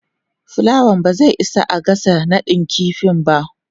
plawan ba zai isa a gasa nadin kifi ba.